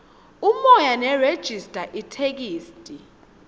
umoya nerejista itheksthi